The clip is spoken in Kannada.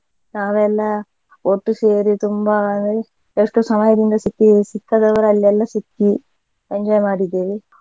ನಾವೆಲ್ಲಾ ಒಟ್ಟು ಸೇರಿ ತುಂಬಾ ಎ~ ಎಷ್ಟೋ ಸಮಯದಿಂದ ಸಿಕ್ಕಿ ಸಿಕ್ಕದವರಲ್ಲೆಲ್ಲ ಸಿಕ್ಕಿ enjoy ಮಾಡಿದ್ದೇವೆ.